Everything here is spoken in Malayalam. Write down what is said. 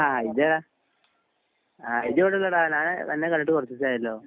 ആ ഇജ്ജാട ആ ഇജ്ജെവിടെന്ന് ഞാൻ അന്നെ കണ്ടിട്ട് കൊറച്ചീസായലോ